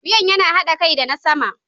Wuyan yana haɗa kai da na sama.